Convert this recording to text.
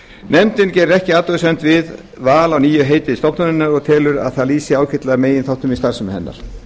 nefndin gerir ekki athugasemd við val á nýju heiti stofnunarinnar og telur að það lýsi ágætlega meginþáttum í starfsemi hennar